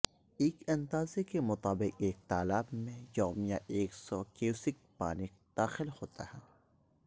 ایک اندازے کے مطابق ایک تالاب میں یومیہ ایک سو کیوسک پانی داخل ہوتا ہے